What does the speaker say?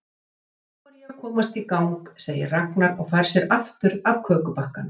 Þá er ég að komast í gang, segir Ragnar og fær sér aftur af kökubakkanum.